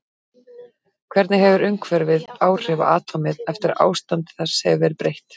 Hvernig hefur umhverfið áhrif á atómið eftir að ástandi þess hefur verið breytt?